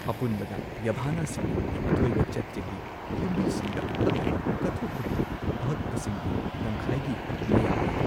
ꯑꯄꯨꯟꯕꯗ, ꯌꯥꯚꯥꯅꯥꯁꯤꯡꯅ ꯑꯊꯣꯏꯕ ꯆꯩꯇ꯭ꯌꯒꯤ ꯌꯨꯝꯕꯤꯁꯤꯡꯗ ꯍꯛꯂꯤꯕ ꯀꯠꯊꯣꯛꯄꯒꯤ ꯑꯍꯛꯄꯁꯤꯡꯒꯤ ꯇꯪꯈꯥꯏꯒꯤ ꯃꯌꯥ ꯑꯣꯏ꯫